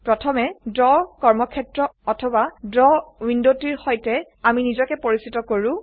প্ৰথমে ড্ৰ কৰ্মক্ষেত্ৰ অথবা ড্ৰ উইন্ডোটিৰ সৈতে আমি নিজকে পৰিচিত কৰো